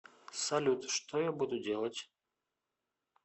салют что я буду делать